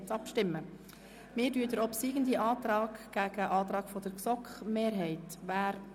Nun stellen wir den obsiegenden Antrag dem Antrag der GSoK-Mehrheit gegenüber.